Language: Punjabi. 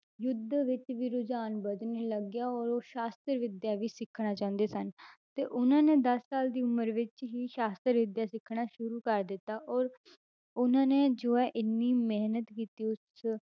ਯੁੱਧ ਵਿੱਚ ਵੀ ਰੁਝਾਨ ਵੱਧਣ ਹੀ ਲੱਗ ਗਿਆ ਔਰ ਉਹ ਸ਼ਾਸ਼ਤਰ ਵਿੱਦਿਆ ਵੀ ਸਿੱਖਣਾ ਚਾਹੁੰਦੇ ਸਨ ਤੇ ਉਹਨਾਂ ਦੇ ਦਸ ਸਾਲ ਦੀ ਉਮਰ ਵਿੱਚ ਹੀ ਸ਼ਾਸ਼ਤਰ ਵਿੱਦਿਆ ਸਿੱਖਣਾ ਸ਼ੁਰੂ ਕਰ ਦਿੱਤਾ ਔਰ ਉਹਨਾਂ ਨੇ ਜੋ ਹੈ ਇੰਨੀ ਮਿਹਨਤ ਕੀਤੀ ਉਸ